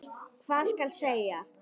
Hvað skal segja?